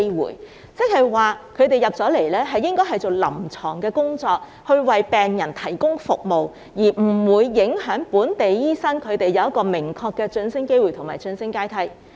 換言之，輸入的醫生主要做臨床工作，為病人提供服務，而不會影響本地醫生的明確晉升機會及晉升階梯。